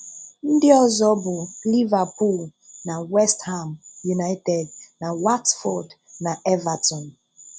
Ndị ọzọ bụ Liverpool na West Ham United, na Watford na Everton.